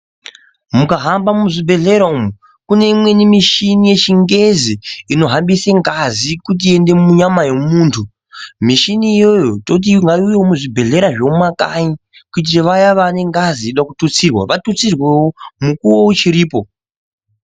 Mukaramba muzvibhedhlera umo kune imweni mishini yechingezi inohambise ngazi kuti iyende munyama yemuntu, mishini iyoyo toti ngaivewo muzvibhedhlera zvemumakanyi kuitira vaya vane ngazi inoda kututsirwa vatutsirwewo mukuwo ichiripo.